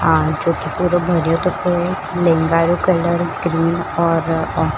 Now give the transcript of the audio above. आ जोकि पुरो भरियोतो है लेहेंगा रो कलर ग्रीन और --